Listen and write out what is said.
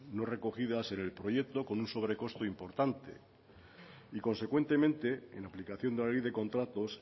no recogidas en el proyecto con un sobrecosto importante y consecuentemente en aplicación de la ley de contratos